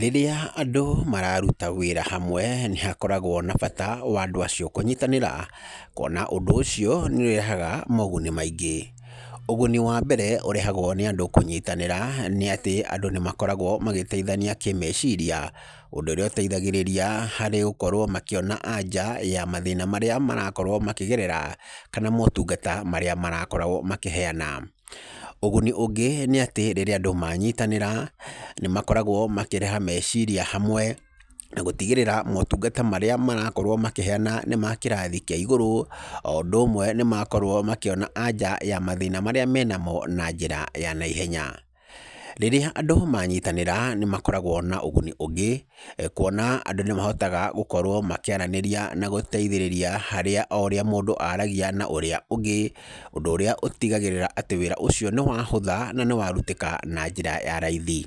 Rĩrĩa andũ mararuta wĩra hamwe, nĩ hakoragwo na bata wandũ acio kũnyitanĩra, kuona ũndũ ũcio nĩ ũrehaga moguni maingĩ, ũguni wa mbere ũrehagwo nĩ andũ kũnyitanĩra, nĩ atĩ andũ nĩ makoragwo magĩteithania kĩmeciria, ũndũ ũrĩa ũteithagĩrĩria harĩ gũkorwo makĩona anja ya mathĩna marĩa marakorwo makĩgerera, kana motungata marĩa marakorwo makĩheyana, ũguni ũngĩ nĩ atĩ, rĩrĩa andũ mayitanĩra, nĩ makoragwo makĩreha meciria hamwe, na gũtigĩrĩra motungata marĩa marakorwo makĩheyana nĩ makĩrathi kĩa igũrũ, o ũndũ ũmwe nĩ makorwo makĩona anja ya mathĩna maria menamo, na njĩra ya neihenya, rĩrĩa andũ manyitanĩra nĩ makoragwo na ũguni ũngĩ, kuona andũ nĩ mahotaga gũkorwo makĩaranĩria, na gũteithĩrĩria harĩa o ũrĩa mũndũ aragia na ũrĩa ũngĩ, ũndũ ũrĩa ũtigagĩrĩra atĩ wĩra ũcio nĩ wahũtha, na nĩ warutĩka na njĩra ya raithi,